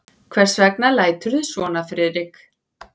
Hvers vegna læturðu svona, Friðrik?